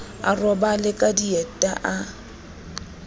a robale ka dieta o